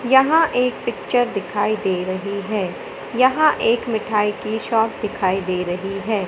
यहां एक पिक्चर दिखाई दे रही है यहां एक मिठाई की शॉप दिखाई दे रही है।